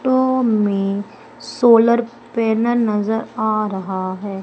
To में solar panel नजर आ रहा है।